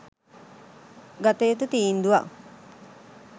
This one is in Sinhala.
ගත යුතු තීන්දුවක්.